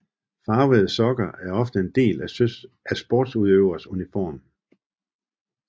Farvede sokker er ofte en del af en sportsudøvers uniform